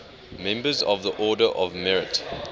members of the order of merit